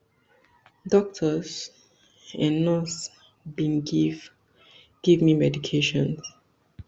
doctor and nurse bin give give me medications